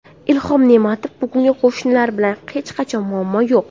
Ilhom Ne’matov: Bugun qo‘shnilar bilan hech qanday muammo yo‘q.